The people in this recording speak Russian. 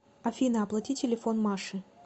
афина оплати телефон маши